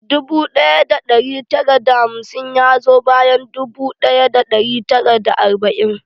Dubu ɗaya da ɗari tara da hamsin ya zo bayan dubu ɗaya da ɗari tara da arba'in.